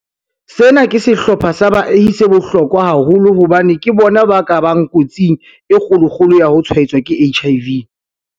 Sena ke sehlopha sa baahi se bohlokwa haholo hobane ke bona ba ka bang kotsing e kgolo-kgolo ya ho tshwaetswa ke HIV.